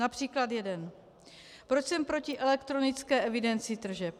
Například jeden: Proč jsem proti elektronické evidenci tržeb?